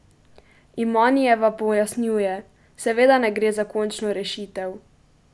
Imanijeva pojasnjuje: "Seveda ne gre za končno rešitev.